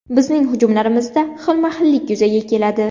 Bizning hujumlarimizda xilma-xillik yuzaga keladi.